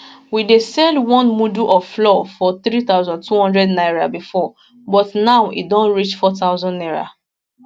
we dey sell one mudu of flour for 3200 naira bifor but now e don reach 4000 naira